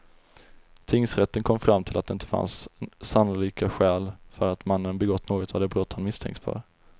Tingsrätten kom fram till att det inte fanns sannolika skäl för att mannen begått något av de brott han misstänkts för.